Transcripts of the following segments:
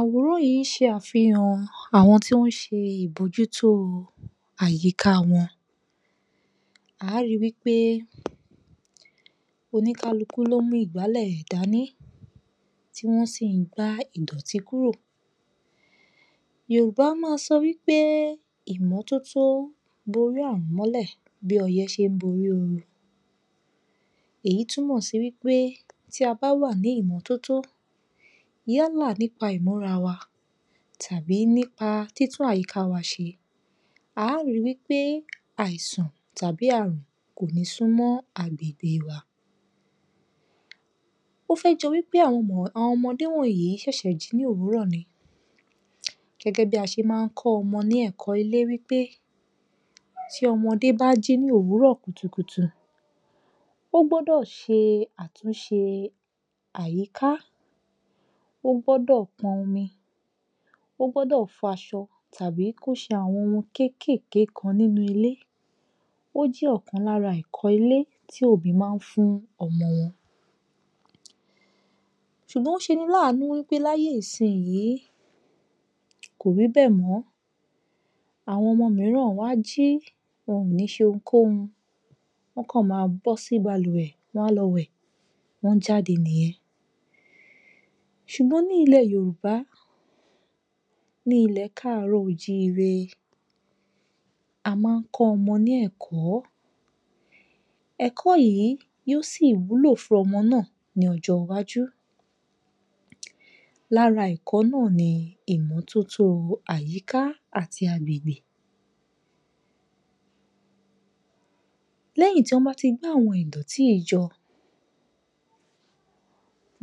Aworan yìí n ṣe afihan àwọn tó nṣe ibojuto àyíká wọn A rí wí pé oníkálukú wọn lo mú ìgbàlè rẹ dání tí a wọn gbà ìdọ̀ti kúrò. Yorùbá má ń sọ wípé, ìmọ́tótó bóri ààrùn mọ́lẹ̀ bí ọyẹ́ ṣe ń bóri oru Èyí túnmò sí wípé tí a bá wà ní ìmọ́tótó yálà nípà ìmúra wa tàbí títún àyíká wà ṣe, a rí wí pé àìsàn tàbí ààrùn kò ní súnmọ́ agbègbè wa. O fẹ́ jọ wí pé àwọn ọmọdé wọ̀nyí ṣẹṣẹ jí ní òwúrọ̀ ni gẹgẹ bí a ṣe má ni kọ ọmọ ní ẹkọ ilé wí pé, ti ọmọdé bá jí ní òwúrọ̀ kùtùkùtù, ọ gbọdọ ṣe àtúnṣe àyíká, o gbọdọ pọn omi, o gbọdọ fọ aṣọ tàbí ṣe àwọn ohun kékèké nínú ilé. Ó jẹ́ ọ̀kan lára àwọn ẹ̀kọ́ ilé tí òbí ma ní fún ọmọ wọn. Ó ṣeni láànú wípé láyé ìsín yìí, kò rí bẹ́ẹ̀ mọ. Àwọn ọmọ míràn wọn a jí, wọn kò ní ṣe ohunkóhun. Wọn kọ̀ má bọ sí balùwẹ̀, wọn máa lọ wẹ̀, wọn jáde nìyẹn. Ṣùgbọ́n ní ilé Yorùbá, nílé kaaro-o-jiire, a má ni kọ ọmọ ní ẹ̀kọ́. Ẹ̀kọ́ yìí yóò sì wúlò fún ọmọ náà ní ọjọ iwájú. Lára ẹ̀kọ́ náà ní ìmọ́tótó àyíká àti agbègbè. Lẹyìn tí wọn bá ti gbá àwọn ìdọ̀tí yìí jọ,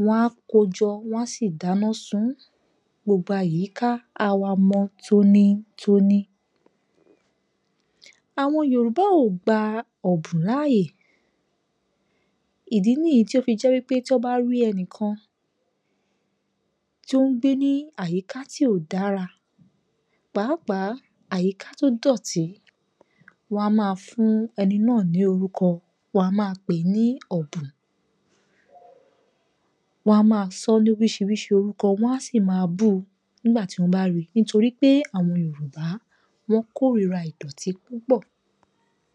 wọn á kóo jọ, wọn a sì dáná sún ùn. Gbogbo àyíká á wá mọ́ tónítóní. Àwọn Yorùbá o gbà ọbun láyé. Ìdí níyì tí o fi jẹ wí pé tí wọn bá rí ẹnìkan tí o n gbé nínú àyíká ti kò dára, pàápàá àyíká tó dọti, wọn a má fún ẹni náà ní orukọ, wọn a má pèé ní ọ̀bùn. Wọ́n á má sọ ní oríṣiríṣi orúkọ, wọn á sì máa búu nígbà tí wọ́n bá ríi, nítorí pé àwọn Yorùbá wọ́n kórìra ìdọ́tí púpọ̀